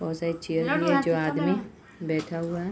बोहोत सारी चेयर है जो आदमी बैठा हुआ हैं।